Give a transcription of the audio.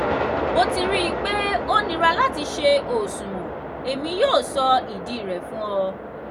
mo ti rii pe o nira lati ṣe oṣuwọn; emi yoo sọ idi rẹ fun ọ.